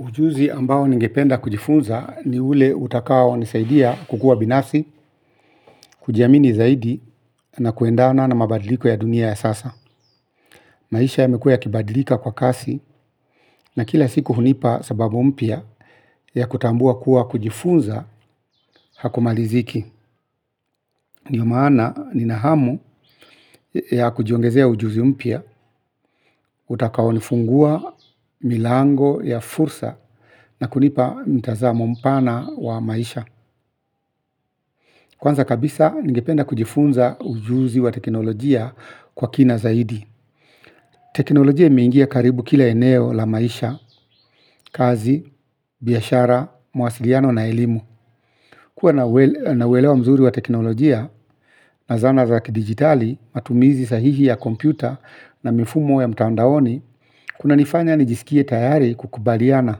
Ujuzi ambao ningependa kujifunza ni ule utakao nisaidia kukuwa binafsi, kujiamini zaidi na kuendana na mabadiliko ya dunia ya sasa. Maisha yamekuwa yakibadilika kwa kasi na kila siku hunipa sababu mpya ya kutambua kuwa kujifunza hakumaliziki. Ndio maana nina hamu ya kujiongezea ujuzi mpya utakao nifungua milango ya fursa na kunipa mtazamo mpana wa maisha. Kwanza kabisa ningependa kujifunza ujuzi wa teknolojia kwa kina zaidi. Teknolojia imeingia karibu kila eneo la maisha, kazi, biashara, mawasiliano na elimu. Kuwa na uelewa mzuri wa teknolojia na zana za kidigitali, matumizi sahihi ya kompyuta na mifumo ya mtaondaoni, kunanifanya nijisikie tayari kukubaliana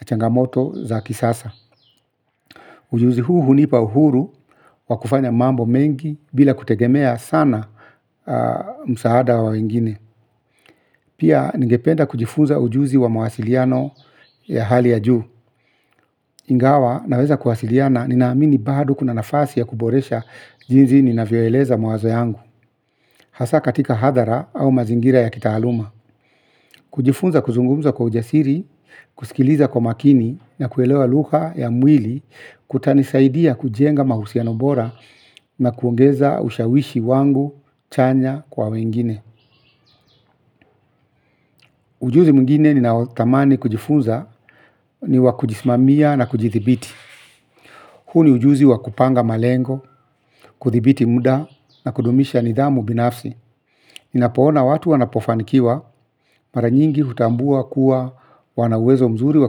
na changamoto za kisasa. Ujuzi huu hunipa uhuru wa kufanya mambo mengi bila kutegemea sana msaada wa wengine. Pia ningependa kujifunza ujuzi wa mawasiliano ya hali ya juu. Ingawa naweza kuwasiliana ninaamini bado kuna nafasi ya kuboresha jinsi ninavyoeleza mawazo yangu. Hasa katika hadhara au mazingira ya kitaaluma. Kujifunza kuzungumza kwa ujasiri, kusikiliza kwa umakini, na kuelewa lugha ya mwili kutanisaidia kujenga mahusiano bora na kuongeza ushawishi wangu chanya kwa wengine. Ujuzi mwingine ninaotamani kujifunza ni wa kujisimamia na kujithibiti. Huu ni ujuzi wa kupanga malengo kuthibiti muda na kudumisha nidhamu binafsi. Ninapoona watu wanapofanikiwa mara nyingi hutambua kuwa wana uwezo mzuri wa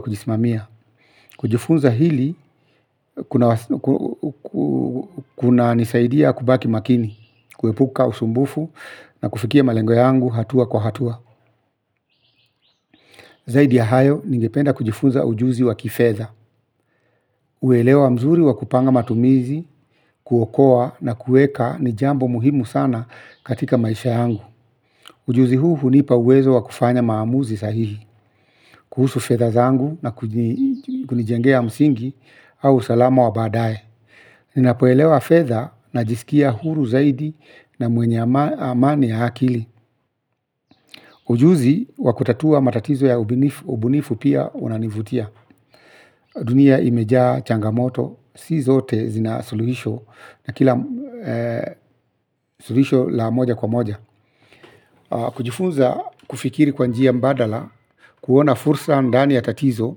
kujisimamia. Kujifunza hili kunanisaidia kubaki makini kuepuka usumbufu na kufikia malengo yangu hatua kwa hatua. Zaidi ya hayo ningependa kujifunza ujuzi wa kifedha. Uelewa mzuri wa kupanga matumizi kuokoa na kuweka ni jambo muhimu sana katika maisha yangu. Ujuzi huu hunipa uwezo wa kufanya maamuzi sahihi kuhusu fedha zangu na kunijengea msingi au usalama wa baadaye. Ninapoelewa fedha najisikia huru zaidi na mwenye amani ya akili. Ujuzi wa kutatua matatizo ya ubunifu pia unanivutia. Dunia imejaa changamoto, si zote zina suluhisho na kila suluhisho la moja kwa moja. Kujifunza kufikiri kwa njia badala, kuona fursa ndani ya tatizo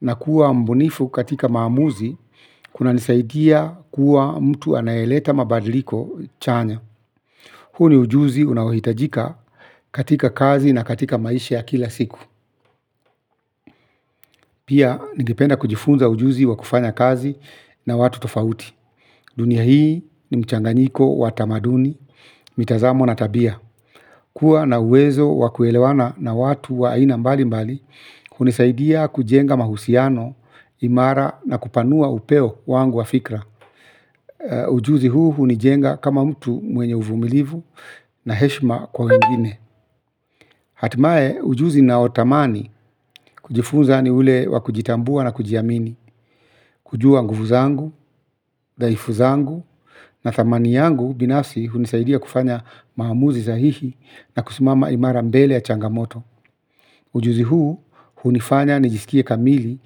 na kuwa mbunifu katika maamuzi, kunanisaidia kuwa mtu anayeleta mabadiliko chanya. Huu ni ujuzi unaohitajika katika kazi na katika maisha ya kila siku. Pia ningependa kujifunza ujuzi wa kufanya kazi na watu tofauti. Dunia hii ni mchanganiko wa tamaduni, mitazamo na tabia. Kuwa na uwezo wa kuelewana na watu wa aina mbali mbali, hunisaidia kujenga mahusiano imara na kupanua upeo wangu wa fikra. Ujuzi huu hunijenga kama mtu mwenye uvumilivu na heshima kwa wengine. Hatimaye ujuzi ninaotamani kujifunza ni ule wa kujitambua na kujiamini kujua nguvu zangu, dhaifu zangu na thamani yangu binafsi hunisaidia kufanya maamuzi sahihi na kusimama imara mbele ya changamoto. Ujuzi huu hunifanya nijisikie kamili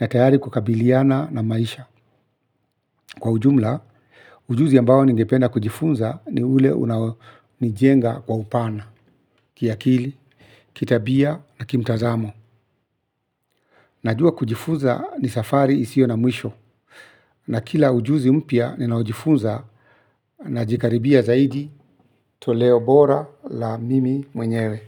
na tayari kukabiliana na maisha. Kwa ujumla, ujuzi ambao ningependa kujifunza ni ule unaonijenga kwa upana, kiakili, kitabia na kimtazamo. Najua kujifunza ni safari isiyo na mwisho. Na kila ujuzi mpya ninaojifunza najikaribia zaidi toleo bora la mimi mwenyewe.